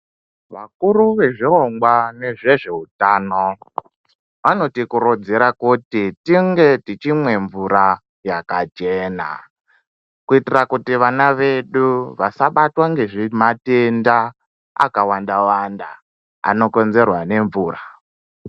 Vakuru vezvirongwa zvehweutano anode kurodzera kuti tichinge tichimwa mvura yakachena kuitira kuti vana vedu vasabatwa ngematenda akawanda wanda anokonzerwa nemvura.